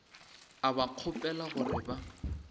a ba kgopela gore ba